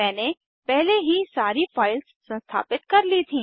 मैंने पहले ही सारी फाइल्स संस्थापित कर ली थी